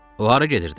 O hara gedirdi?